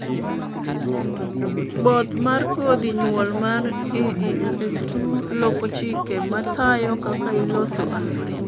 both mar kodhi nyuol mar ALS2 loko chike matayo kaka iloso alsin